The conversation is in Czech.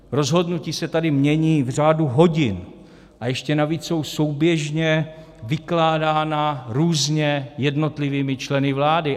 Rozhodnutí se tady mění v řádu hodin, a ještě navíc jsou souběžně vykládána různě jednotlivými členy vlády.